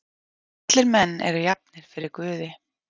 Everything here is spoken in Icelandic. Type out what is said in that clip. Allir menn eru jafnir fyrir guði.